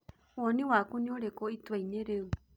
Woni waku nĩ urĩkũ ituaini rĩu